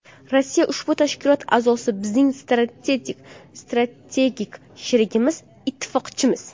Rossiya ushbu tashkilot a’zosi, bizning strategik sherigimiz, ittifoqchimiz.